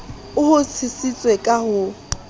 o ho tshositse ka ho